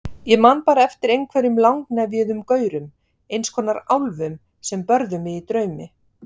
Ég man bara eftir einhverjum langnefjuðum gaurum, eins konar álfum, sem börðu mig í draumi.